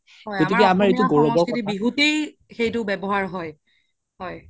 আমাৰ অসমৰ সংস্কৃতি বিহুতে সেইটো ৱ্যাবহাৰ হয় হয়